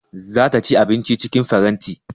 Za ta ci abinci cikin faranti